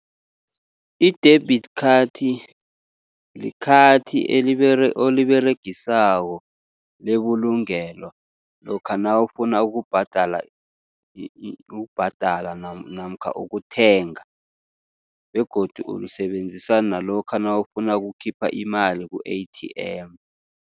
I-debit khathi, likhathi oliberegisako lebulungelo, lokha nawufuna ukubhadala ukubhadala namkha ukuthenga. Begodu ulisebenzisa nalokha nawufuna ukukhipha imali ku-A_T_M.